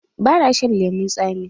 Ba na shan lemun tsami.